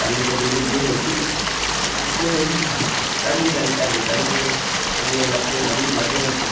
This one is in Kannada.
ಅಲ್ಲಿಸ ಬೆಳಿಗ್ಗೆ ಹೋದ್ವಿ ಬೆಳಿಗ್ಗೆ ಹೋಗಿ ಸಂಜೆ ತನ್ಕ ಅಲ್ಲೆ ಸಂಜೆ ಅಲ್ಲಿ ಎಲ್ಲ pro~ ನಮಿಗೆ ಮಧ್ಯಾಹ್ನ ನಂತ್ರ.